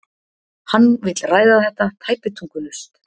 Hann vill ræða þetta tæpitungulaust.